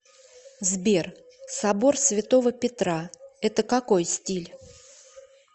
сбер собор святого петра это какой стиль